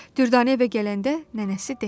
Düvdanə evə gələndə nənəsi dedi.